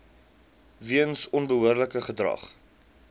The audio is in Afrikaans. weens onbehoorlike gedrag